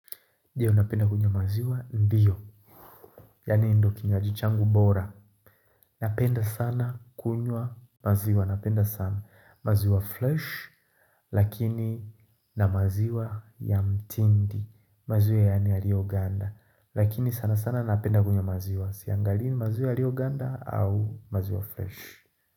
Ndiyo napenda kunywa maziwa ndiyo, yaani ndo kinywaji changu bora. Napenda sana kunywa maziwa, napenda sana maziwa flesh, lakini na maziwa ya mtindi, maziwa yani yalio ganda. Lakini sana sana napenda kunywa maziwa, siangalini maziwa yalio ganda au maziwa fresh.